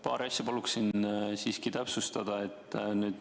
Paari asja paluksin siiski täpsustada.